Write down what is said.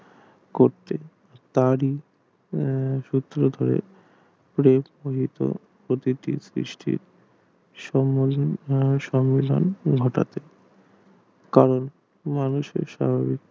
করতে তারই উম সূত্রপাত হয়ে প্রতিটির সৃষ্টি কারণ মানুষের সঙ্গে